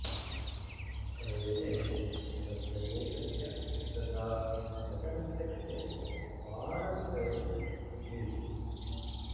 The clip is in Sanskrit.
कवेः स्वस्य देशस्य तथा वचनस्य कृते अपारं प्रेम आसीत्